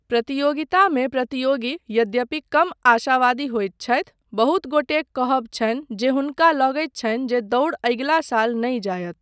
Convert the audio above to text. प्रतियोगितामे प्रतियोगी, यद्यपि, कम आशावादी होयत छथि, बहुत गोटेक कहब छनि जे हुनका लगैत छनि जे दौड़ अगिला साल नहि जायत।